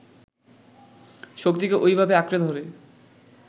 শক্তিকে ওইভাবে আঁকড়ে ধরে